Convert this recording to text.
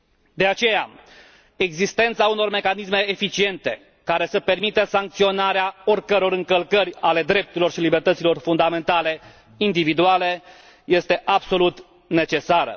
De aceea, existența unor mecanisme eficiente, care să permită sancționarea oricăror încălcări ale drepturilor și libertăților fundamentale individuale este absolut necesară.